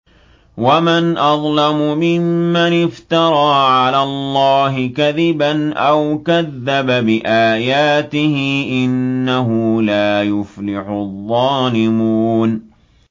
وَمَنْ أَظْلَمُ مِمَّنِ افْتَرَىٰ عَلَى اللَّهِ كَذِبًا أَوْ كَذَّبَ بِآيَاتِهِ ۗ إِنَّهُ لَا يُفْلِحُ الظَّالِمُونَ